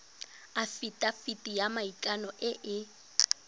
afitafiti ya maikano e e